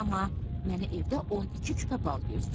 Amma mənə evdə 12 küpə bal gözləyir.